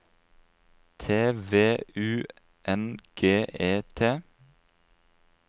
T V U N G E T